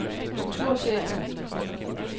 kontorchef